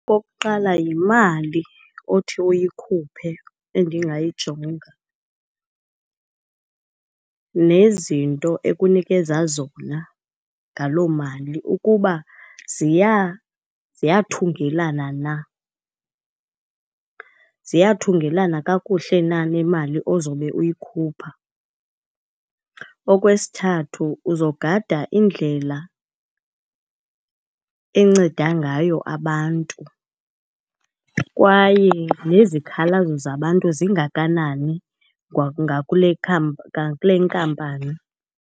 Okokuqala, yimali othi uyikhuphe endingayijonga nezinto ekunikeza zona ngaloo mali ukuba ziyathungelana na, ziyathungelana kakuhle na nemali ozobe uyikhupha. Okwesithathu, uzogada indlela enceda ngayo abantu kwaye nezikhalazo zabantu zingakanani ngakule , ngakule nkampani.